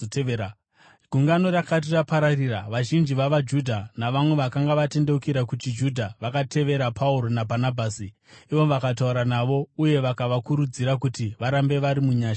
Gungano rakati rapararira, vazhinji vavaJudha navamwe vakanga vatendeukira kuchiJudha vakatevera Pauro naBhanabhasi, ivo vakataura navo uye vakavakurudzira kuti varambe vari munyasha dzaMwari.